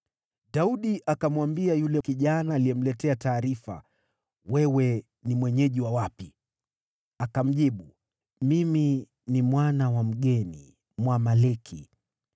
Daudi akamwambia yule kijana aliyemletea taarifa, “Wewe ni mwenyeji wa wapi?” Akamjibu, “Mimi ni mwana wa mgeni, Mwamaleki.”